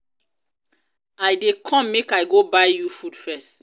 i dey i dey come make i go buy you food first